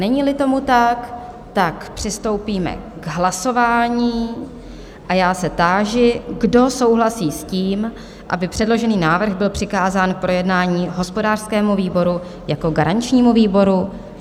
Není-li tomu tak, přistoupíme k hlasování a já se táži, kdo souhlasí s tím, aby předložený návrh byl přikázán k projednání hospodářskému výboru jako garančnímu výboru?